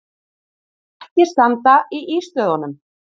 Ekki standa í ístöðunum!